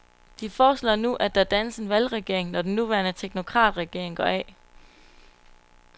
De foreslår nu, at der dannes en valgregering, når den nuværende teknokratregering går af.